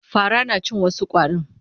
Fara na cin wasu ƙwarin.